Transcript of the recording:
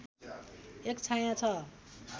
एक छायाँ छ